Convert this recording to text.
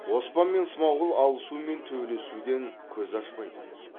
оспан мен смағұл алысу мен төбелесуден көз ашпайтын